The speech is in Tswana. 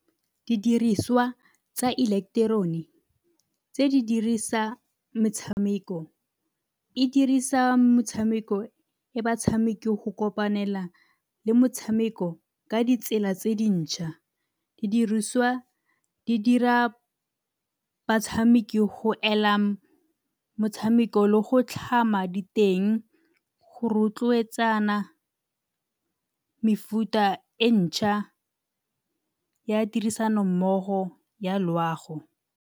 Didiriswa tsa eleketerone tse di dirisa metshameko, e dirisa motshameko e batshameki go kopanela le motshameko ka ditsela tse dintšha. Didiriswa di dira batshameki go ela motshameko le go tlhama diteng go rotloetsana mefuta e ntšha ya tirisanommogo ya loago.